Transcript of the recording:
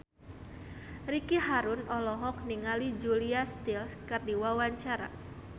Ricky Harun olohok ningali Julia Stiles keur diwawancara